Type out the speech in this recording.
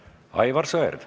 Aivar Sõerd.